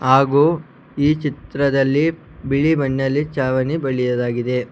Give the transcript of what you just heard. ಹಾಗು ಈ ಚಿತ್ರದಲ್ಲಿ ಬಿಳಿ ಬಣ್ಣಲಿ ಛಾವಣಿ ಬಳಿಯಲಾಗಿದೆ.